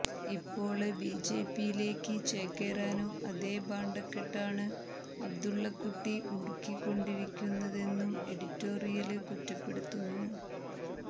ഇപ്പോള് ബിജെപിയിലേക്ക് ചേക്കേറാനും അതേ ഭാണ്ഡക്കെട്ടാണ് അബ്ദുള്ളക്കുട്ടി മുറുക്കിക്കൊണ്ടിരിക്കുന്നതെന്നും എഡിറ്റോറിയല് കുറ്റപ്പെടുത്തുന്നു